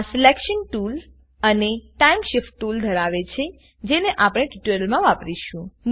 આ selection tool અને time Shift tool ધરાવે છેજેને આપણે ટ્યુટોરીયલમા વાપરીશું